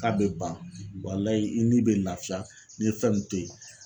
K'a bɛ ban i ni bɛ laafiya n'i fɛn nun to ye.